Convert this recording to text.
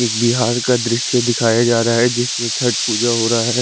एक बिहार का द्रिस्य दिखाया जारा है जिसमे छट पूजा होरा है।